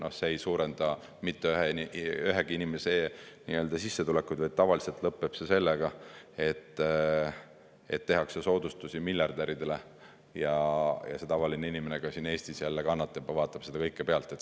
Noh, see ei suurenda mitte ühegi inimese sissetulekuid, vaid tavaliselt lõpeb see sellega, et tehakse soodustusi miljardäridele ja tavaline inimene, ka siin Eestis, jälle kannatab ja vaatab seda kõike pealt.